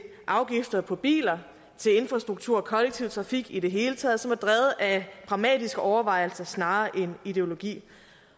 afgifter på biler infrastruktur og kollektiv trafik i det hele taget som er drevet af pragmatiske overvejelser snarere end ideologi